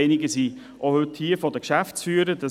Einige von den Geschäftsführern sind auch hier.